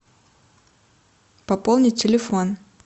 пополнить телефон